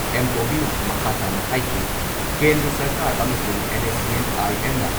M. ꯇꯣꯝꯕꯤꯅ ꯃꯈꯥ ꯇꯥꯅ ꯍꯥꯏꯈꯤ ꯀꯦꯟꯗ꯭ꯔ ꯁꯔꯀꯥꯔ ꯑꯃꯁꯨꯡ ꯑꯦꯟ.ꯑꯦꯁ.ꯁꯤ.ꯑꯦꯟ ꯑꯥꯏ.ꯑꯦꯝ ꯅ